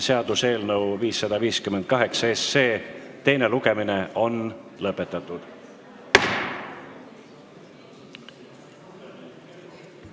Seaduseelnõu 558 teine lugemine on lõpetatud.